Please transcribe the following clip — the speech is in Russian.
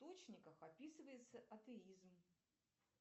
источниках описывается атеизм